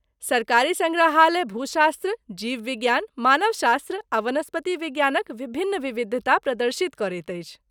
सरकारी सङ्ग्रहालय भूशास्त्र, जीव विज्ञान, मानव शास्त्र आ वनस्पति विज्ञानक विभिन्न विविधता प्रदर्शित करैत अछि।